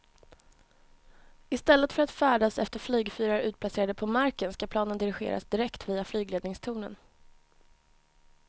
I stället för att färdas efter flygfyrar utplacerade på marken ska planen dirigeras direkt via flygledningstornen.